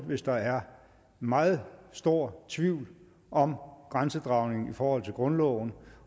hvis der er meget stor tvivl om grænsedragningen i forhold til grundloven